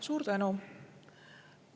Suur tänu!